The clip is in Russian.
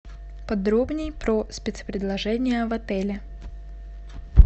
подробнее про спецпредложения в отеле